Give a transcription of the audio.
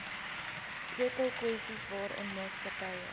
sleutelkwessies waaraan maatskappye